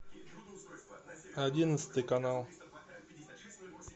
одиннадцатый канал